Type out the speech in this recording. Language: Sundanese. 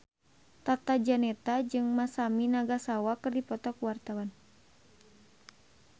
Tata Janeta jeung Masami Nagasawa keur dipoto ku wartawan